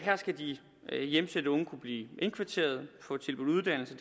her skal de hjemsendte unge kunne blive indkvarteret og få tilbudt uddannelse